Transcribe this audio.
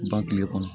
Ban kile kɔnɔ